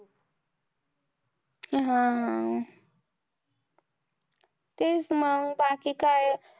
हा. तेच मंग बाकी काय